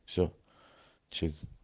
все чик